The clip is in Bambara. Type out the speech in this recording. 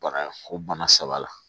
Bana ko bana saba la